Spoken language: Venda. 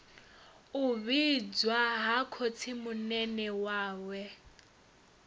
u vhidzwa ha khotsimunene wawe